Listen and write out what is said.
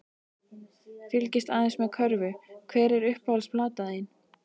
Fylgist aðeins með körfu Hver er uppáhalds platan þín?